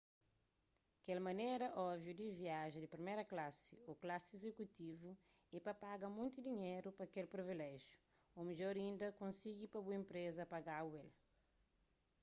kel manera óbviu di viaja di priméru klasi ô klasi izekutivu é pa paga monti dinheru pa kel priviléjiu ô midjor inda konsigi pa bu inpreza paga-bu el